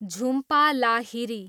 Jhumpa Lahiri